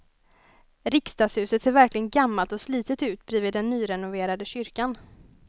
Riksdagshuset ser verkligen gammalt och slitet ut bredvid den nyrenoverade kyrkan.